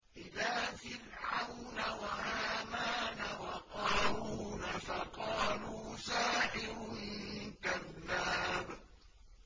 إِلَىٰ فِرْعَوْنَ وَهَامَانَ وَقَارُونَ فَقَالُوا سَاحِرٌ كَذَّابٌ